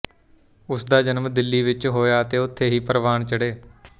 ਉਸਦਾ ਜਨਮ ਦਿੱਲੀ ਵਿੱਚ ਹੋਇਆ ਅਤੇ ਉਥੇ ਹੀ ਪ੍ਰਵਾਨ ਚੜ੍ਹੇ